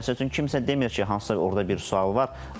Məsəl üçün kimsə demir ki, hansısa orda bir sual var.